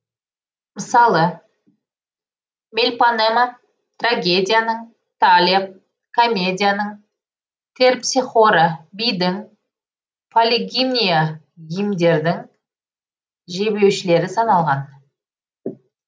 мысалы мельпонема трагедияның талия комедияның терпсихора бидің полигимния гимндердің жебеушілері саналған